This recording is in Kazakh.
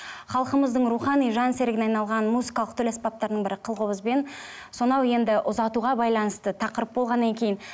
халқымыздың рухани жан серігіне айналған музыкалық тіл аспаптардың бірі қыл қобызбен сонау енді ұзатуға байланысты тақырып болғаннан кейін